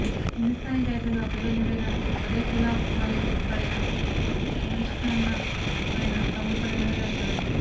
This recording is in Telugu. హిందుస్తానీ గాయకులలో అగ్రగణ్యుడైన బడేగులామలీ పాడిన ఖమాజ్కన్నా ఆయన తమ్ముడు పాడినదే నాకు చాలా ఇష్టం